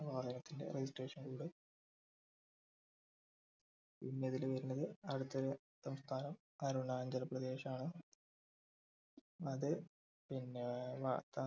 വാഹനത്തിൻ്റെ registration code പിന്നെ ഇതിൽ വരുന്നത് അടുത്ത സംസ്ഥാനം അരുണാചൽ പ്രദേശ് ആണ് അത് പിന്നെ ഏർ വ